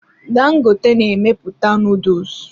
Dangote na-emepụta nuduls.